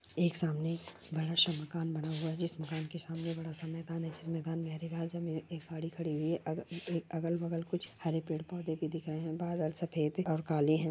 एक सामने बड़ा सा मकान बना हुआ जिस मकान के सामने बड़ा स मैदान है जिस मैदान मे हरी घास मे एक गाड़ी खड़ी हुई है अगा बगल कुछ हरे पेड़ पौधे भी दिखा ये है बादल सफेद और काले है।